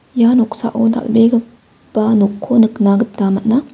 ia noksao dal·begipa nokko nikna gita man·a.